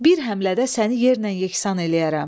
Bir həmlədə səni yerlə yeksan eləyərəm.